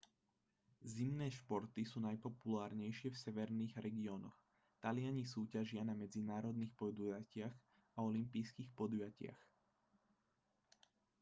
zimné športy sú najpopulárnejšie v severných regiónoch taliani súťažia na medzinárodných podujatiach a olympijských podujatiach